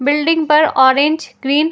building पर orange green --